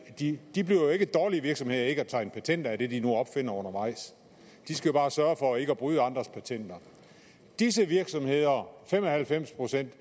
de de bliver jo ikke dårligere virksomheder af ikke at tegne patenter af det de nu opfinder undervejs de skal bare sørge for ikke at bryde andres patenter disse virksomheder fem og halvfems procent